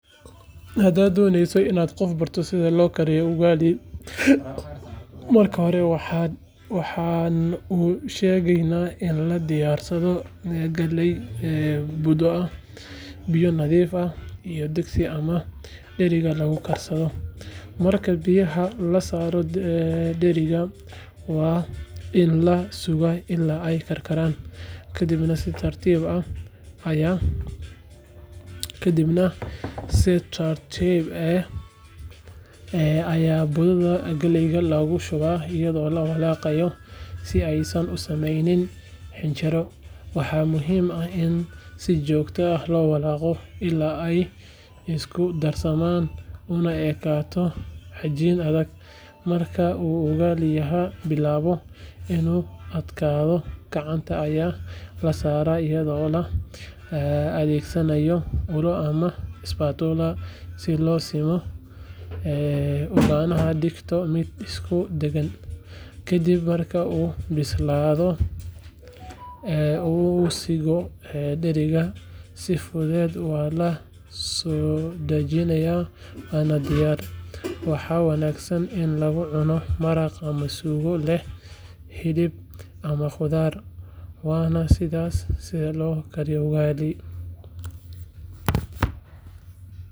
Hadad doney inad qof barto sidha lokariyo ugali, marka horee waxa usgegeyna in ladiyarsadho galey budho ahh biyo nadhif ahh iyo degsi ama deriga lagukarsadho, marka biyaha lasaro deriga wainlasuga ila eyy karkaran kadibna si tartib ahh aya budhadha galeyga logashuba ayadho lawalaqayo si eysan usameynin xinjiro, waxamuhim ahh in si jogta ahh lowalaqo ila eyy iskudarsaman una ekato xajin adhag, marka uu ugaliyaha bilawo inuu adkadho gacanta aya lasara ayadho laadhegsanayo ula amah spatula si losimo laganadigto mid iskusiman, kadib marka uu bisladho, uu sigo diriga si fudhed uaala sodajinayo wanadiyar, waxa wanagsan in lagucuno maraq ama sugo leh hilib amah qudhar wana sidhas sidha lokariyo ugali.